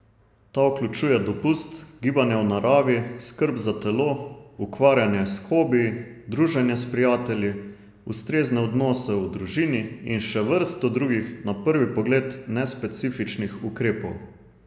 Ta vključuje dopust, gibanje v naravi, skrb za telo, ukvarjanje s hobiji, druženje s prijatelji, ustrezne odnose v družini in še vrsto drugih na prvi pogled nespecifičnih ukrepov.